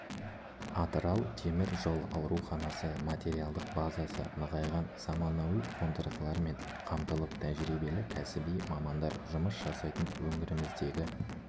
атырау темір жол ауруханасы материалдық базасы нығайған заманауи қондырғылармен қамтылып тәжірибелі кәсіби мамандар жұмыс жасайтын өңіріміздегі